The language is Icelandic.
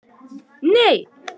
Myrra, hvaða vikudagur er í dag?